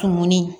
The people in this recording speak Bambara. Tumuni